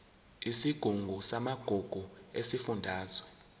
isigungu samagugu sesifundazwe